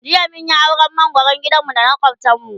jiya mun Yi auran mangoran gidan mu da na makwaftan mu